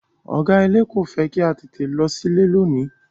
Ọ̀gá ilé kò fẹ́ kí a tètè lọ sílé lónìí.